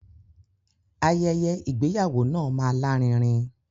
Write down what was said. Ayẹyẹ ìgbéyàwó náà máa lárinrin.